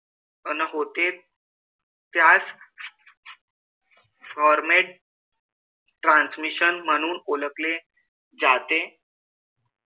अन होते. त्यास format transmission म्हणून ओळखले जाते.